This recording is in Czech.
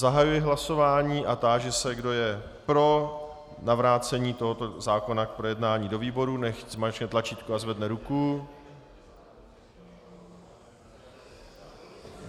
Zahajuji hlasování a táži se, kdo je pro navrácení tohoto zákona k projednání do výboru, nechť zmáčkne tlačítko a zvedne ruku.